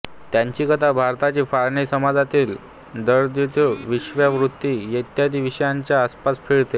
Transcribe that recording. त्यांची कथा भारताची फाळणी समाजातील दारिद्ऱ्य वेश्यावृत्ती इत्यादी विषयांच्या आसपास फिरते